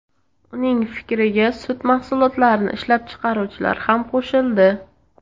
Uning fikriga sut mahsulotlarini ishlab chiqaruvchilar ham qo‘shildi.